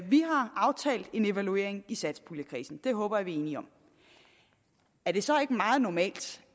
vi har aftalt en evaluering i satspuljekredsen det håber jeg at vi er enige om er det så ikke meget normalt